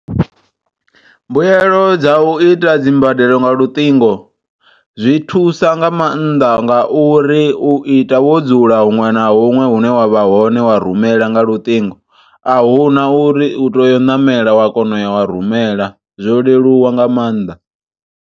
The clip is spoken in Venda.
Mbuyelo dza u ita dzi mbadelo nga luṱingo, zwi thusa nga maanḓa nga uri u ita wo dzula huṅwe na huṅwe hune wavha hone wa rumela nga luṱingo. Ahuna uri u tea u ṋamela wa kona u ya wa rumela zwo leluwa nga maanḓa.